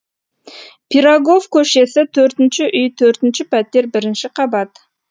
пирогов көшесі төртінші үй төртінші пәтер бірінші қабат